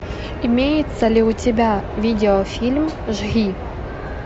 имеется ли у тебя видеофильм жги